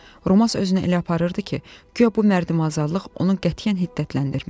Romas özünü elə aparırdı ki, guya bu mərdimağlıq onun qətiyyən hiddətləndirmir.